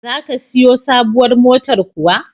Za ka siyo sabuwar motar kuwa?